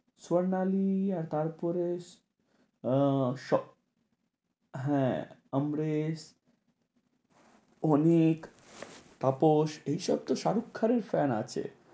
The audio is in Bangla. স্বর্ণালী আর তারপরে আহ হ্যাঁ অমরেশ, অনিক, তাপস এইসব তো শাহরুখ খানের fan আছে।